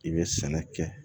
I bɛ sɛnɛ kɛ